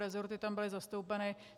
Rezorty tam byly zastoupeny.